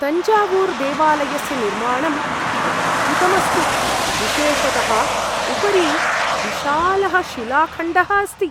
तञ्जावूर्देवालयस्य निर्माणम् अद्भुतम् अस्ति, विशेषतः उपरि विशालः शिलाखण्डः अस्ति।